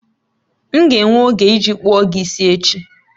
M ga-enwe oge iji kpụọ gị isi echi